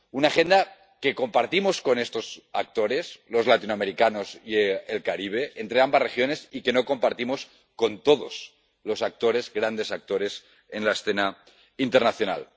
Una agenda que compartimos con estos actores —los latinoamericanos y el Caribe—, con ambas regiones, y que no compartimos con todos los grandes actores en la escena internacional.